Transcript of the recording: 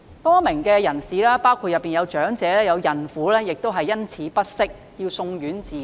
多名人士，當中包括長者和孕婦因此感到不適，要送院治理。